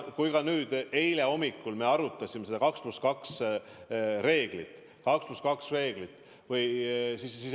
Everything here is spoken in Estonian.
Alles eile hommikul me arutasime seda 2 +2 reeglit.